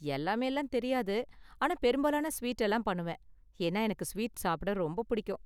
எல்லாமேலாம் தெரியாது, ஆனா பெரும்பாலான ஸ்வீட் எல்லாம் பண்ணுவேன். ஏன்னா எனக்கு ஸ்வீட் சாப்பிட ரொம்ப புடிக்கும்.